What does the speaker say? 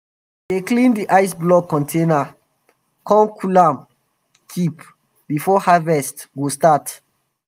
we dey clean d ice block container come cool am keep before harvest go start.